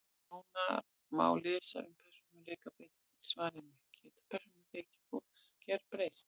Nánar má lesa um persónuleikabreytingar í svarinu Getur persónuleiki fólks gerbreyst?